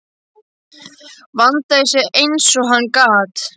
Vandaði sig eins og hann gat.